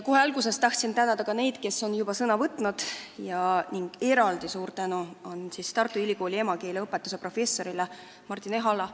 Kohe alguses tahan tänada neid, kes on juba sõna võtnud, eraldi suur tänu Tartu Ülikooli emakeeleõpetuse professorile Martin Ehalale.